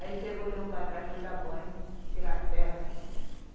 Aí pegou, levou para trás, foi dar banho, tirar as terras, né?